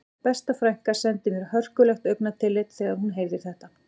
Besta frænka sendi mér hörkulegt augnatillit þegar hún heyrði þetta